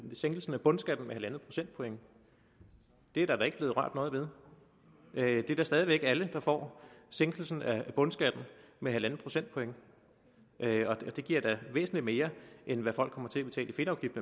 sænkelsen af bundskatten med halvandet procentpoint det er der ikke blevet rørt ved det er da stadig væk alle der får sænkelsen af bundskatten med halvanden procentpoint det giver da væsentlig mere end hvad folk kommer til at betale i fedtafgift